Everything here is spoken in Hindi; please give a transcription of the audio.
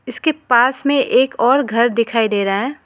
इसके पास में एक और घर दिखाई दे रहा है।